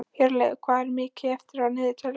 Hjörleif, hvað er mikið eftir af niðurteljaranum?